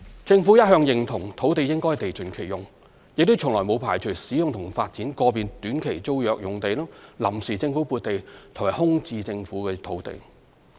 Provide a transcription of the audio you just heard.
政府一向認同土地應地盡其用，亦從來沒有排除使用及發展個別短期租約用地、臨時政府撥地和空置政府土地。